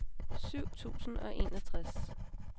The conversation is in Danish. syv tusind og enogtres